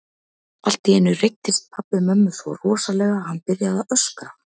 Allt í einu reiddist pabbi mömmu svo rosalega að hann byrjaði að öskra.